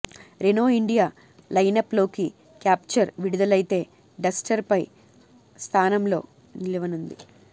Renault India lineup లోకి Captur విడుదలయితే Duster పై స్థానంలో నిలవనుంది